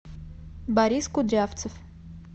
борис кудрявцев